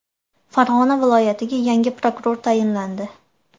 Farg‘ona viloyatiga yangi prokuror tayinlandi.